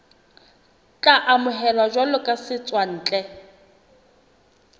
tla amohelwa jwalo ka setswantle